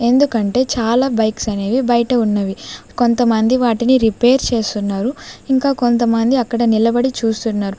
ఎందుకంటే చాలా బైక్స్ అనేవి బయట ఉన్నవి కొంతమంది వాటిని రిపేర్ చేస్తున్నారు ఇంకా కొంతమంది అక్కడ నిలబడి చూస్తున్నారు.